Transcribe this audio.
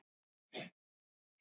Efsta hæðin er dregin inn.